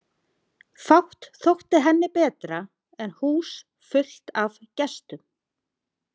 Fátt þótti henni betra en hús fullt af gestum.